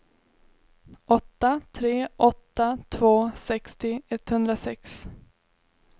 åtta tre åtta två sextio etthundrasex